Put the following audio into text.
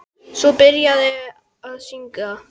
Svo var byrjað að syngja.